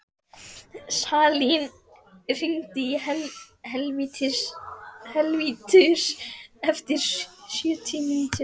Salín, hringdu í Helvítus eftir sjötíu mínútur.